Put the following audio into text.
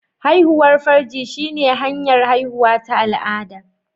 Haihuwar farji shine hanyar haihuwa ta al'ada